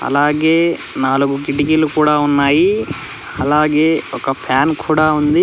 అలాగే నాలుగు కిటికీలు కుడా ఉన్నాయి అలాగే ఒక ఫ్యాన్ కుడా ఉంది.